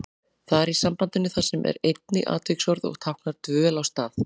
Þar í sambandinu þar sem er einnig atviksorð og táknar dvöl á stað.